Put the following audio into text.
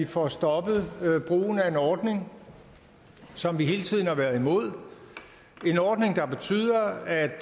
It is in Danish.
får stoppet brugen af en ordning som vi hele tiden har været imod en ordning der betyder at